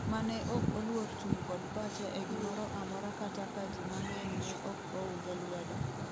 mane ok oluor chung' kod pache e gimoro amora kata ka ji mang'eny ne ok ounge lwedo